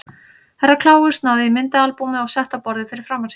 Herra Kláus náði í myndaalbúmið og setti á borðið fyrir framan sig.